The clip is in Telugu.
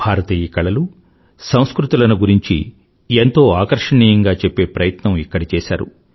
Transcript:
భారతీయ కళలుసంస్కృతిలను గురించి ఎంతో ఆకర్షణీయంగా చెప్పే ప్రయత్నం ఇక్కడ చేశారు